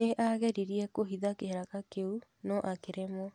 Nĩ aageririe kũhitha kĩraka kĩu, no akĩremwo.